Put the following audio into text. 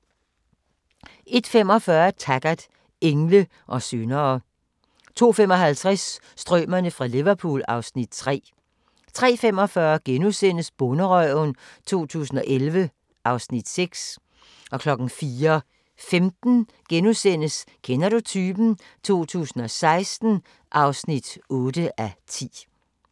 01:45: Taggart: Engle og syndere 02:55: Strømerne fra Liverpool (Afs. 3) 03:45: Bonderøven 2011 (Afs. 6)* 04:15: Kender du typen? 2016 (8:10)*